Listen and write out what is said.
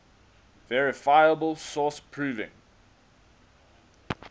verifiable source proving